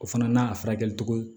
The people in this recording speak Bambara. O fana n'a furakɛli cogo ye